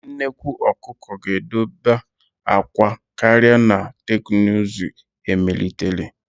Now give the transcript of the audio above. Nnekwu ọkụkọ ga-edoba akwa karịa na teknụzụ emelitere.